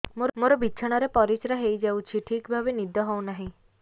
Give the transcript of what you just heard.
ମୋର ବିଛଣାରେ ପରିସ୍ରା ହେଇଯାଉଛି ଠିକ ଭାବେ ନିଦ ହଉ ନାହିଁ